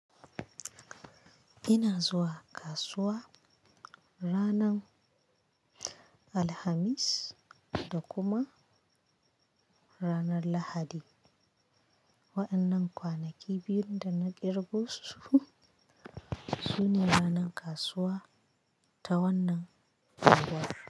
Ina zuwa kasuwa ranar Alhamis da kuma ranar Lahadi. Wa'annan kwanaki biyun da na kirgo su, su ne ranan kasuwa ta wannan unguwar.